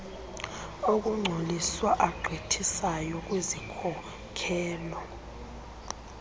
okungcoliswa agqithisayo kwizikhokelo